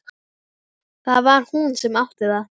Það var hún sem átti það.